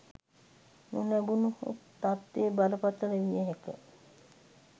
නොලැබුණහොත් තත්වය බරපතල විය හැක